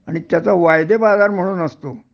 आणि त्याचा वायदेबाजार म्हणून असतो